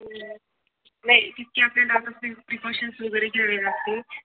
हम्म नाही तितकी आपल्याला आता प्रिक प्रिकॉशन वैगेरे घ्यावी लागते